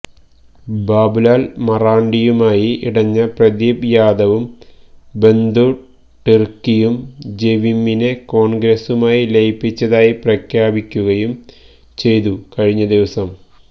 ബാബുലാല് മറാണ്ടിയുമായി ഇടഞ്ഞ പ്രദീപ് യാദവും ബന്ദു ടിര്ക്കിയും ജെവിമ്മിനെ കോണ്ഗ്രസുമായി ലയിപ്പിച്ചതായി പ്രഖ്യാപിക്കുകയും ചെയ്തു കഴിഞ്ഞ ദിവസം